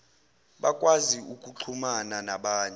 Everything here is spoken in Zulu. bakwazi ukuxhumana nabanye